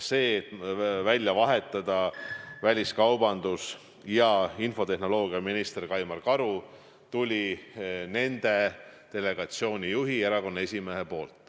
Ettepanek välja vahetada väliskaubandus- ja infotehnoloogiaminister Kaimar Karu tuli delegatsiooni juhi ja erakonna esimehe poolt.